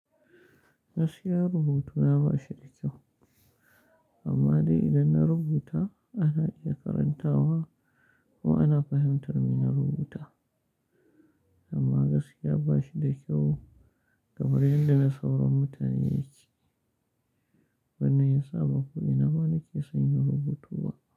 Gaskiya rubutuna ba shi da kyau, amma dai idan na rubuta ana iya karanta wa ko ana fahimtar me na rubuta. Amma gaskiya ba shi da kyau game da yadda na sauran mutane yake. Ban iya sa makudi na ba, nake sanya rubutu ba.